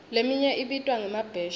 leminye ibitwa ngemabheshi